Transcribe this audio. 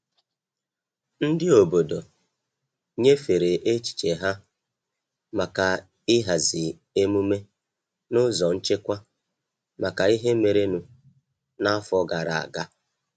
Ndị obodo nyefere echiche ha maka ịhazi emume n'ụzọ nchekwa maka ihe merenụ n'afọ gara aga.